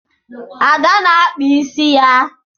Ada na-akpa ịsị ya